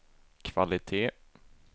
kvalitet